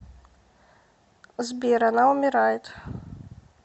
сбер она умирает